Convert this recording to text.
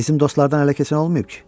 Bizim dostlardan ələ keçən olmayıb ki?